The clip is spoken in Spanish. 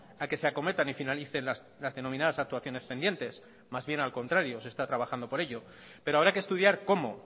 a que se acometan y finalicen las denominadas actuaciones pendientes más bien al contrario se está trabajando por ello pero habrá que estudiar cómo